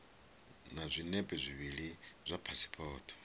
na zwinepe zwivhili zwa phasipoto